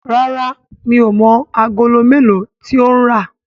ràrá mi'o mọ Àgòló melo tí o ń rá.